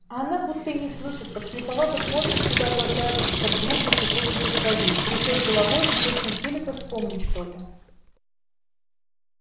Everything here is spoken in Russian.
а она будто и не слышит подслеповато смотрит куда-то вдаль из-под грустно приподнятых бровей трясёт головой и точно силится вспомнить что-то